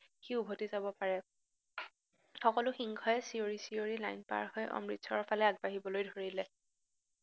সি উভতি যাব পাৰে, সকলো সিংহই চিঞৰী চিঞৰী লাইন পাৰহৈ অমৃতচৰৰফালে আগবাঢ়িবলৈ ধৰিলে।